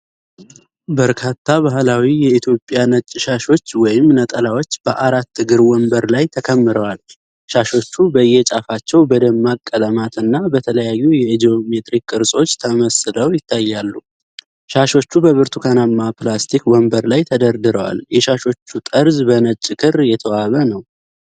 በርካታ ባህላዊ የኢትዮጵያ ነጭ ሻሾች ወይም ነጠላዎች በአራት እግር ወንበር ላይ ተከምረዋል። ሻሾቹ በየጫፋቸው በደማቅ ቀለማትና በተለያዩ የጂኦሜትሪክ ቅርጾች ተመስለው ይታያሉ። ሻሾቹ በብርቱካናማ ፕላስቲክ ወንበር ላይ ተደርድረዋል። የሻሾቹ ጠርዝ በነጭ ክር የተዋበ ነው።